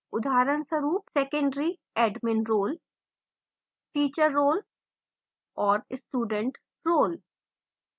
उदाहरणस्वरूप secondary admin role teacher role और student role